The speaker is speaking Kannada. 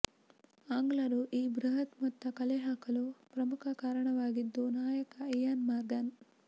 ಆಂಗ್ಲರು ಈ ಬೃಹತ್ ಮೊತ್ತ ಕಲೆಹಾಕಲು ಪ್ರಮುಖ ಕಾರಣವಾಗಿದ್ದು ನಾಯಕ ಇಯಾನ್ ಮಾರ್ಗನ್